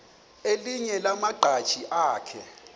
elinye lamaqhaji akhe